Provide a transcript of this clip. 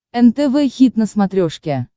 нтв хит на смотрешке